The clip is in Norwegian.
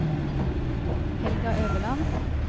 Helga Øverland